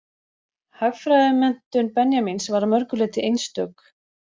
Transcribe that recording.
Hagfræðimenntun Benjamíns var að mörgu leyti einstök.